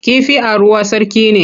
Kifi a ruwa sarki ne.